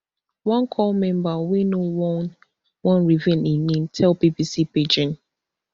one corps member wey no wan wan reveal im name tell bbc pidgin